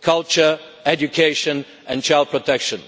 culture, education and child protection.